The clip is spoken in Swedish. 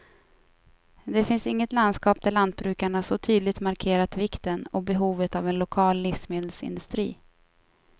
Det finns inget landskap där lantbrukarna så tydligt markerat vikten och behovet av en lokal livsmedelsindustri.